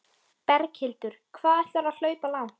Berghildur: Hvað ætlarðu að hlaupa langt?